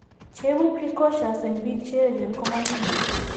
Che ibu precocious keek biik che echen ko making'en.